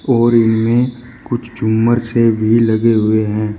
और इनमें कुछ झूमर से भी लगे हुए है।